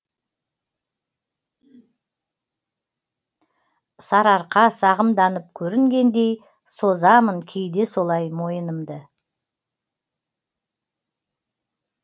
сарыарқа сағымданып көрінгендей созамын кейде солай мойынымды